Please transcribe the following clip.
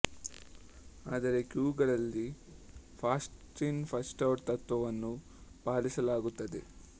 ಆದರೆ ಕ್ಯೂಗಳಲ್ಲಿ first in first out ತತ್ವವನ್ನು ಪಾಲಿಸಲಾಗುತ್ತದೆ